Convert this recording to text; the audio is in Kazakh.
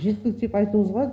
жеткілікті деп айтуымызға болады